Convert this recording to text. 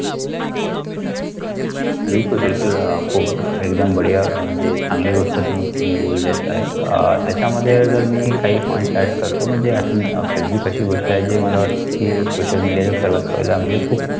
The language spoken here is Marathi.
बिलकुल बिलकुल खूप एकदम बादिया म्हणजे चांगली गोष्ट म्हणजे तुम्ही बोलले आहेत आह त्याच्यामध्ये जर मी काही पॉइंट्स येड करतो म्हणजे आपण फेसबुक अशी गोष्ट आहे मला सोशल मीडिया सगळे म्हणजे खूप. सात.